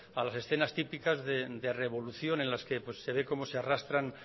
a las escenas típicas de revolución en las que se ve cómo se arrastran